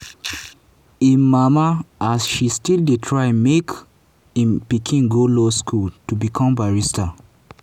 im mama as she still dey try make im pikin go law school to become barrister.